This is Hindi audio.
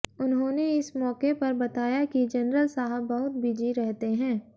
उन्होंने इस मौके पर बताया कि जनरल साहब बहुत बिजी रहते हैं